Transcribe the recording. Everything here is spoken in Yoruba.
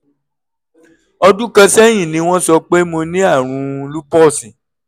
ọdún kan sẹ́yìn ni wọ́n sọ pé mo ní àrùn lúpọ́ọ̀sì